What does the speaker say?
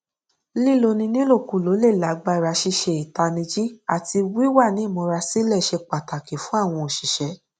líloni nílòkulò le lágbàra ṣíṣe ìtanijí àti wíwa ní ìmúra sílẹ ṣe pàtàkì fún àwọn òṣìṣẹ